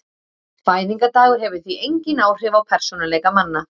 Fæðingardagur hefur því engin áhrif á persónuleika manna.